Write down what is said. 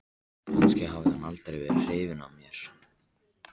Kannski hafði hann aldrei verið hrifinn af mér.